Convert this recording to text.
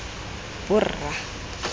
borra